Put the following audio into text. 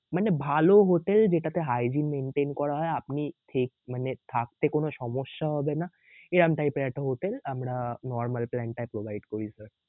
মানে ভাল হোটেল যেটাতে hygiene maintain করা হয় আপনি থেক~মানে থাকতে কোন সমস্যা হবে না এরকম type এর একটা হোটেল আমরা normal plan টায় provide করি sir